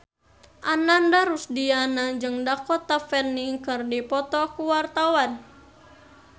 Ananda Rusdiana jeung Dakota Fanning keur dipoto ku wartawan